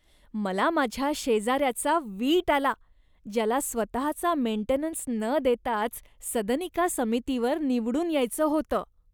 मला माझ्या शेजाऱ्याचा वीट आला, ज्याला स्वतचा मेंटेनन्स न देताच सदनिका समितीवर निवडून यायचं होतं.